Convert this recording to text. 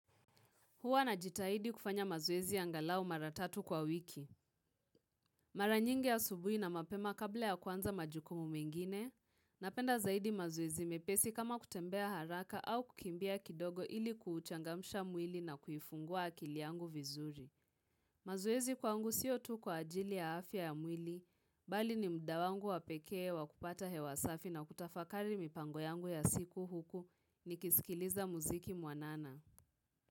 Hua najitahidi kufanya mazoezi ya angalau mara tatu kwa wiki. Mara nyingi asubuhi na mapema kabla ya kuanza majukumu mengine, napenda zaidi mazoezi mepesi kama kutembea haraka au kukimbia kidogo ili kuuchangamsha mwili na kuifungua akili yangu vizuri. Mazoezi kwangu sio tu kwa ajili ya afya ya mwili, bali ni muda wangu wapekee wa kupata hewa safi na kutafakari mipango yangu ya siku huku nikisikiliza muziki mwanana.